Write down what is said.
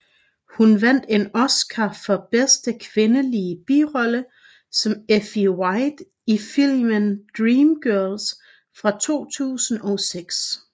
Hun vandt en Oscar for bedste kvindelige birolle som Effie White i filmen Dreamgirls fra 2006